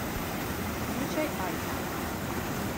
включай альфа